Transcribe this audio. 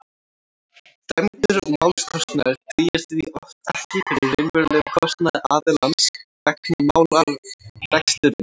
dæmdur málskostnaður dugir því oft ekki fyrir raunverulegum kostnaði aðilans vegna málarekstursins